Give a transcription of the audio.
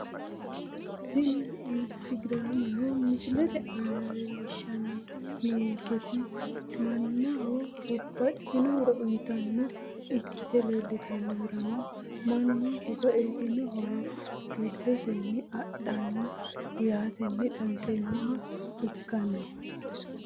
Tini instagrameno misilete aana leelishani noonketi manaho nabaxitino horo uuyitano ikite leeltanohurano manu nanaxino horo gidoseeni adhano yaateni xawiseemoha ikanno.